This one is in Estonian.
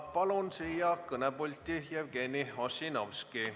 Palun siia kõnepulti Jevgeni Ossinovski.